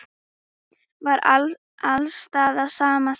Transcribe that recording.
Var alls staðar sama sagan?